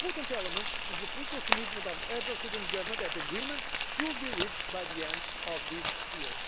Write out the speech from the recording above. One important element is the political commitment of the Heads of State and Government that agreement should be reached by the end of this year.